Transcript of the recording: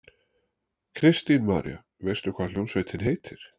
Kristín María: Veistu hvað hljómsveitin heitir?